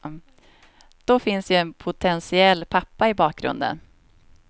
Då finns ju en potentiell pappa i bakgrunden.